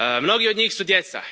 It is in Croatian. Mnogi od njih su djeca.